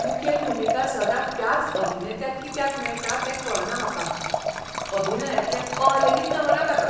मुखेल भुमिका सदां त्याच अभिनेत्याक कित्याक मेळटा तें कळना म्हाका. अभिनयांतलें अ लेगीत जमना ताका.